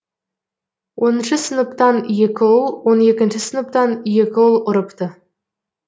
оныншы сыныптан екі ұл он екінші сыныптан екі ұл ұрыпты